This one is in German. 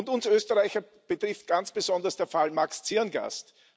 Uns Österreicher betrifft ganz besonders der Fall Max Zirngast.